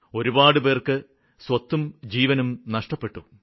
ഒരുപാടുപേര്ക്ക് സ്വത്തും ജീവനും നഷ്ടപ്പെട്ടു